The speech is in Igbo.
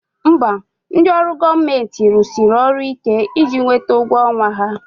Mba, ndị ọrụ gọọmenti rụsiri ọrụ ike iji nweta ụgwọ ọnwa ha